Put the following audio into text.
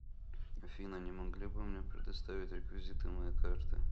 афина не могли бы мне предоставить реквизиты моей карты